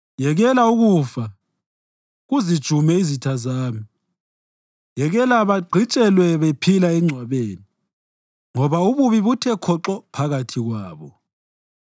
Yekela ukufa kuzijume izitha zami; yekela bagqitshelwe bephila engcwabeni, ngoba ububi buthe khoxo phakathi kwabo.